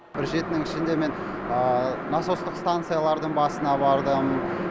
бір жетінің ішінде мен насостық станциялардың басына бардым